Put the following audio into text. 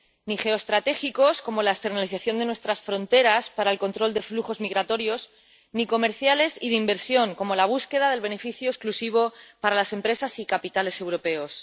Ni geoestratégicos, como la externalización de nuestras fronteras para el control de flujos migratorios, ni comerciales y de inversión, como la búsqueda del beneficio exclusivo para las empresas y capitales europeos.